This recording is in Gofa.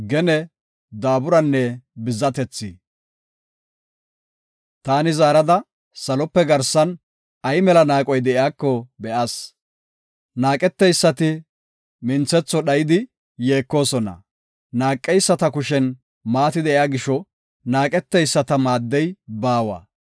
Taani zaarada, salope garsan ay mela naaqoy de7iyako be7as. Naaqeteysati minthetho dhayidi yeekosona. Naaqeyisata kushen maati de7iya gisho naaqeteyisata maaddey baawa.